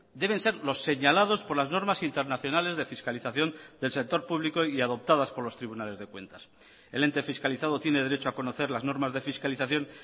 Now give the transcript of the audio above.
deben ser los señalados por las normas internacionales de fiscalización del sector público y adoptadas por los tribunales de cuentas el ente fiscalizado tiene derecho a conocer las normas de fiscalización